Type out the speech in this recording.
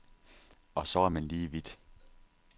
Og så er man lige vidt.